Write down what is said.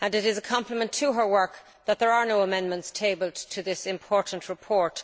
It is a compliment to her work that there are no amendments tabled to this important report.